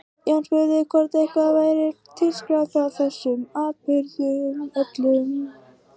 Jón spurði hvort eitthvað væri til skráð frá þessum atburðum öllum.